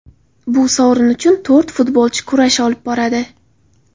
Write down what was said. Bu sovrin uchun to‘rt futbolchi kurash olib boradi.